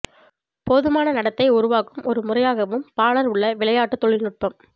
போதுமான நடத்தை உருவாக்கும் ஒரு முறையாகவும் பாலர் உள்ள விளையாட்டு தொழில்நுட்பம்